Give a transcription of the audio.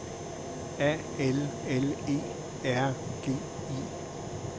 A L L E R G I